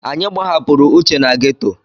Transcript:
Anyị gbahapụrụ Uche na geto.